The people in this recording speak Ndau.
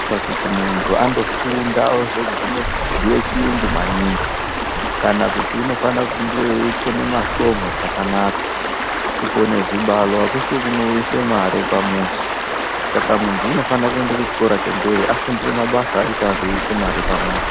Ngekuti mundu andofunda ozoguma kubhuya chiyungu maningi kana kuti unofana kunge kukona mashomu zvakanaka kukona chibalo akusiko kunounza mare pamuzi saka mundu unofana kuenda kuchikora chemberi ofundira mabasa ekuti azouyisa mare pamuzi.